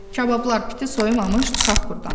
Kabablar piti soyumamış çıxaq burdan.